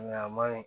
Nka a ma ɲi